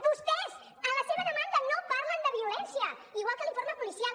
vostès en la seva demanda no parlen de violència igual que l’informe policial